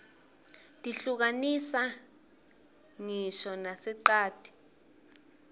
tihluka nisa nqisho narerqati